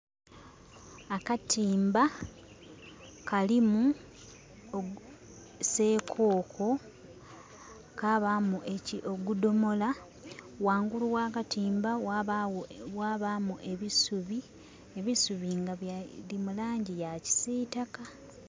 Akatimba kalimu sekoko kabamu ogudomola. Wangulu wakatimba mwabamu ebisubi nga biri mulangi ya kisitaka